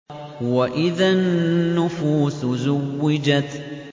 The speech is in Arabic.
وَإِذَا النُّفُوسُ زُوِّجَتْ